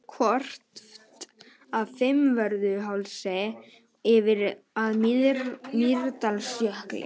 Horft af Fimmvörðuhálsi yfir að Mýrdalsjökli.